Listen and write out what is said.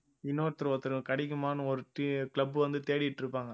இன்னொருத்தர் ஒருத்தரு கிடைக்குமான்னு ஒரு club வந்து தேடிட்டு இருப்பாங்க